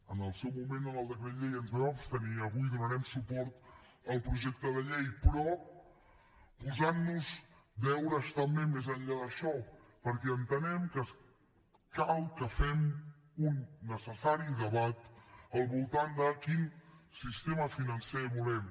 en el seu moment en el decret llei ens vam abstenir avui donarem suport al projecte de llei però posant nos deures també més enllà d’això perquè entenem que cal que fem un necessari debat al voltant de quin sistema financer volem